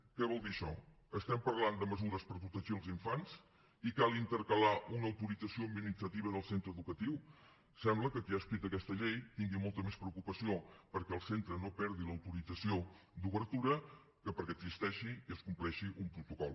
què vol dir això estem parlant de mesures per protegir els infants i cal intercalar una autorització administrativa del centre educatiu sembla que qui ha escrit aquesta llei tingui molta més preocupació perquè el centre no perdi l’autorització d’obertura que perquè existeixi i es compleixi un protocol